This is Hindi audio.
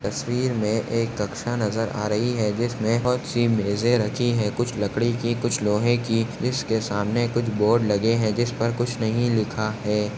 तस्वीर मे एक कक्षा नजर आ रही है जिसमे बहुत सी मेंजे रखी है कुछ लकड़ी की कुछ लोहे की जिसके सामने कुछ बोर्ड लगे है जिसपर कुछ नहीं लिखा है।